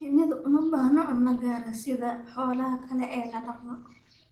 Shinnidu uma baahna cunto gaar ah sida xoolaha kale ee la dhaqdo.